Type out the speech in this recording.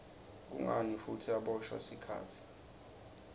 kungani futsi aboshwa sikhatsi